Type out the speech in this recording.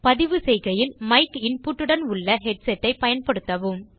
பதிவு செய்கையில் mic input உடன் உள்ள ஹெட்செட் ஐ பயன்படுத்தவும்